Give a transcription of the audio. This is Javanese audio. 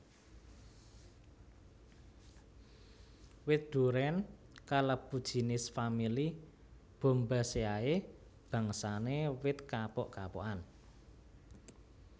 Wit durén kalebu jinis famili Bombaceae bangsane wit kapuk kapukan